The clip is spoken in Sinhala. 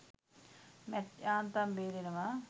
මැට් යාන්තම් බේරෙනවා.